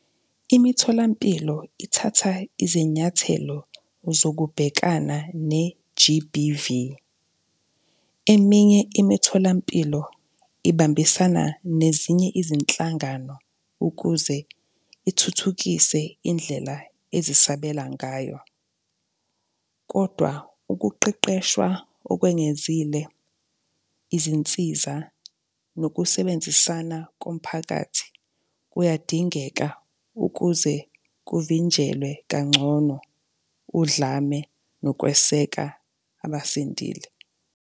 Imitholampilo ithatha izinyathelo zokubhekana ne-G_B_V. Eminye imitholampilo ibambisana nezinye izinhlangano ukuze ithuthukise indlela ezisabela ngayo. Kodwa ukuqeqeshwa okwengezile, izinsiza nokusebenzisana komphakathi kuyadingeka ukuze kuvinjelwe kangcono udlame nokweseka abasindile.